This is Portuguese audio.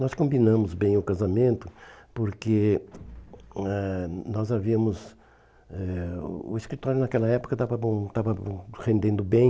Nós combinamos bem o casamento porque eh nós havíamos eh o o escritório naquela época estava hum estava hum rendendo bem.